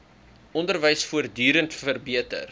onderwys voortdurend verbeter